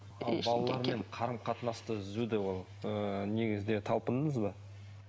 балалармен қарым қатынасты ыыы негізінде талпындыңыз ба